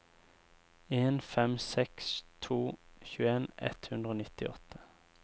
en fem seks to tjueen ett hundre og nittiåtte